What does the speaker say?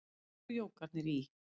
Eins og jógarnir í